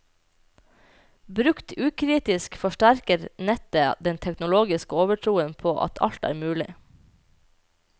Brukt ukritisk, forsterker nettet den teknologiske overtroen på at alt er mulig.